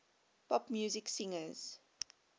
pop music singers